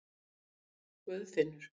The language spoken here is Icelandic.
Guðfinnur